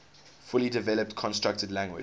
fully developed constructed language